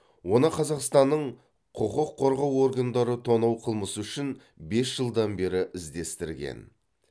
оны қазақстанның құқық қорғау органдары тонау қылмысы үшін бес жылдан бері іздестірген